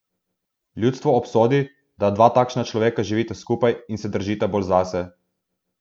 Ljudstvo obsodi, da dva takšna človeka živita skupaj in se držita bolj zase.